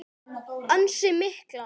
Ansi miklar.